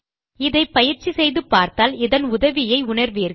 இதை பயிற்சி செய்து பார்த்தால் இதன் உதவியை உணர்வீர்கள்